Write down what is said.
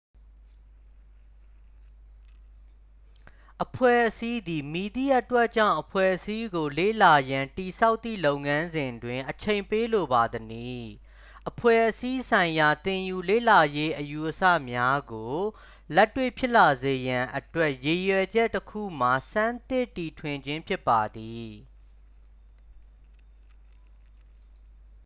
အဖွဲ့အစည်းသည် မည်သည့်အတွက်ကြောင့် အဖွဲ့အစည်းကို လေ့လာရန် တည်ဆောက်သည့် လုပ်ငန်းစဉ်တွင် အချိန်ပေးလိုပါသနည်း အဖွဲ့အစည်းဆိုင်ရာသင်ယူလေ့လာရေးအယူအဆများကို လက်တွေ့ဖြစ်လာစေရန်အတွက် ရည်ရွယ်ချက်တစ်ခုမှာ ဆန်းသစ်တီထွင်ခြင်းဖြစ်ပါသည်